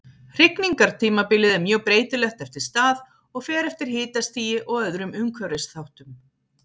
Hrygningartímabilið er mjög breytilegt eftir stað og fer eftir hitastigi og öðrum umhverfisþáttum.